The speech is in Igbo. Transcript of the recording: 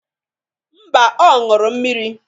Mba, ọ ṅụrụ mmiri.